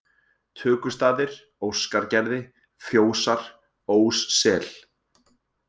Tökustaðir, Óskargerði, Fjósar, Óssel